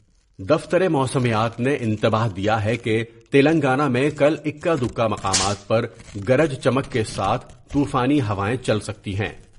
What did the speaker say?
دفتر موسمیات نے انتباہ دیاہے کہ تلنگانہ میں کل اکا دکا مقامات پر گرج چمک کے ساتھ طوفانی ہوائیں چل سکتی ہیں ۔